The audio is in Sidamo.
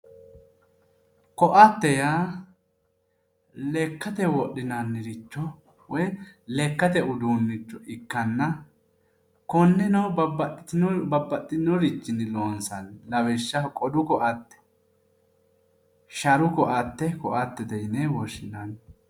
Koatte yaa lekkate wodhinanniricho woyi lekkate uduunnicho ikkanna konneno babbaxxinorichinni loonsanni lawishshaho qodu koate sharu koate koattete yine woshshinanni.